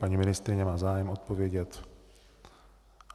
Paní ministryně má zájem odpovědět.